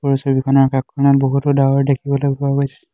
ওপৰৰ ছবিখনৰ আকাশখনত বহুতো ডাৱৰ দেখিবলৈ পোৱা গৈছে।